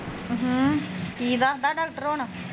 ਹਮ, ਕੀ ਦੱਸਦਾ ਡਾਕਟਰ ਹੁਣ